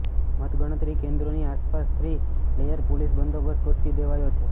મતગણતરી કેન્દ્રોની આસપાસ થ્રી લેયર પોલીસ બંદોબસ્ત ગોઠવી દેવાયો છે